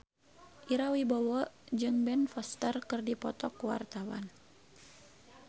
Ira Wibowo jeung Ben Foster keur dipoto ku wartawan